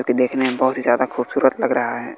जोकि देखने में बहोत ही ज्यादा खूबसूरत लग रहा हैं।